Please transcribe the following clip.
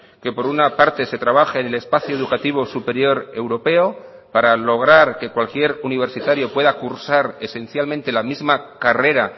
que por una parte se trabaje en el espacio educativo superior europeo para lograr que cualquier universitario pueda cursar esencialmente la misma carrera